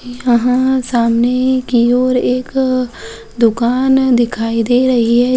यहां सामने की और एक दुकान दिखाई दे रही है।